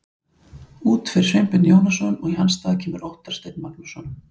Út fer Sveinbjörn Jónasson og í hans stað kemur Óttar Steinn Magnússon.